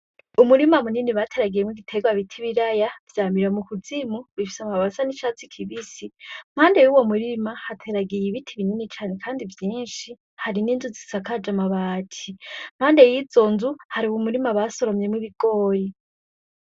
Umurima munini bateragiyemw'ibiterwa bit'ibiraya vyamira mukuzimu, bifise amababi asa n'icatsi kibisi impande yuwo murima hateragiy ibiti binini cane kandi vyinshi, hari n'inzu zisakaj'amabati ,impande yizo nzu har'umurima basoromy'ibigori